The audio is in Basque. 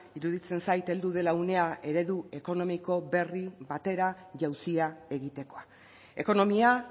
iruditzen zait heldu dela unea eredu ekonomiko berri batera jauzia egitekoa ekonomia